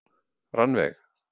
Rannveig